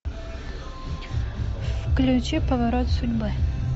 включи поворот судьбы